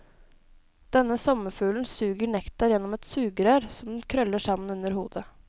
Denne sommerfuglen suger nektar gjennom et sugerør som den krøller sammen under hodet.